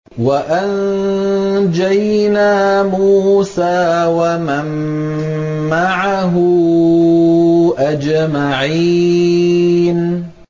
وَأَنجَيْنَا مُوسَىٰ وَمَن مَّعَهُ أَجْمَعِينَ